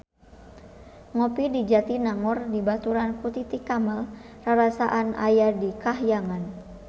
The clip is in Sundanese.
Ngopi di Jatinangor dibaturan ku Titi Kamal rarasaan aya di kahyangan